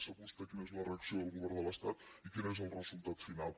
sap vostè quina és la reacció del govern de l’estat i quin és el resultat final